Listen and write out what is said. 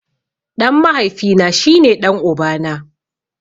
Ɗan mahaifi na shi ne ɗan uba na.